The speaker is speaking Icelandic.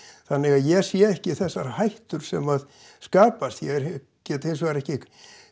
þannig að ég sé ekki þessar hættur sem að skapast ég get hins vegar ekki